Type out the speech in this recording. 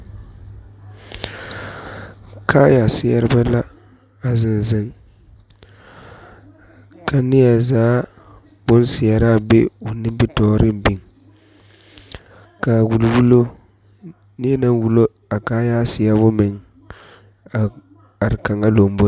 Kaaya seɛrebɛ be la a zeŋ zeŋ ka neɛzaa bonseɛraa be o nimitɔɔreŋ biŋ ka a wuliwulo neɛ naŋ wulo a kaaya seɛbo meŋ are kaŋa lomboriŋ.